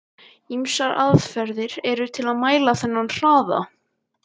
Ýmsar aðferðir eru til að mæla þennan hraða.